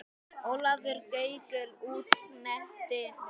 Ólafur Gaukur útsetti lögin.